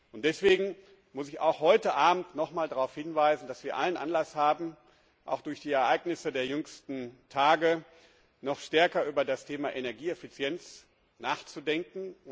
Und deswegen muss ich auch heute Abend nochmals darauf hinweisen, dass wir allen Anlass haben auch durch die Ereignisse der jüngsten Tage noch stärker über das Thema Energieeffizienz nachzudenken.